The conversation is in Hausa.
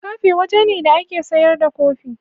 Kafe waje ne da ake sayar da kofi.